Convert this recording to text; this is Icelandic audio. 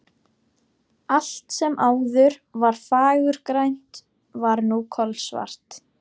Allt sem áður var fagurgrænt var nú kolsvart.